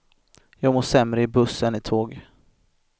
Jag mår sämre i buss än i tåg.